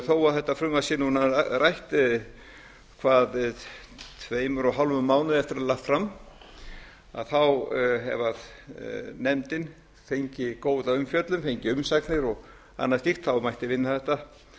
þó að þetta frumvarp sé núna rætt tveimur og hálfum mánuði eftir að það er lagt fram fram að að ef nefndin fengi góða umfjöllun fengi umsagnir og annað slíkt mætti vinna þetta